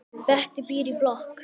Bettý býr í blokk.